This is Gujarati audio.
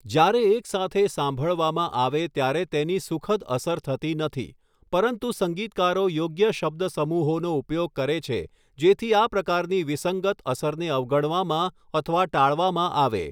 જ્યારે એક સાથે સાંભળવામાં આવે ત્યારે તેની સુખદ અસર થતી નથી, પરંતુ સંગીતકારો યોગ્ય શબ્દસમૂહોનો ઉપયોગ કરે છે જેથી આ પ્રકારની વિસંગત અસરને અવગણવામાં અથવા ટાળવામાં આવે.